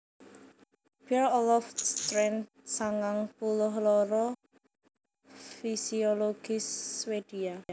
Per Olof Åstrand sangang puluh loro fisiologis Swédia